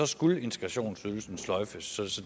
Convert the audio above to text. skulle integrationsydelsen sløjfes så